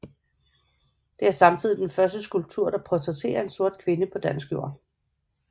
Det er samtidig den første skulptur der portrætterer en sort kvinde på dansk jord